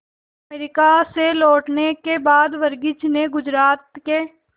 America से लौटने के बाद वर्गीज ने गुजरात के